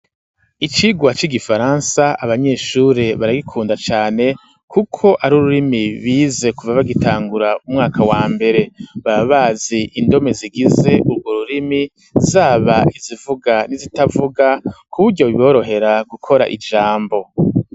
Icigwa c'igifaransa abanyeshure baragikunda cane, kuko ari ururimi bize kuva bagitangura umwaka wa mbere, baba bazi indome zigize urwo rurimi, zaba izivuga n'izitavuga ku buryo biborohera gukora ijambo.